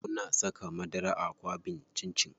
Muna saka madara a kwaɓin cin cin.